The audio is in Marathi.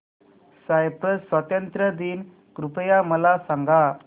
सायप्रस स्वातंत्र्य दिन कृपया मला सांगा